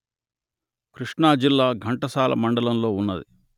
కృష్ణా జిల్లా ఘంటసాల మండలంలో ఉన్నది